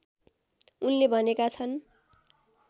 उनले भनेका छन्